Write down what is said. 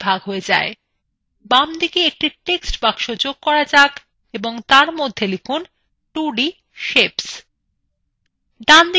বামদিকে একটি text box যোগ করা যাক এবং তার মধ্যে লিখুন 2d সেপস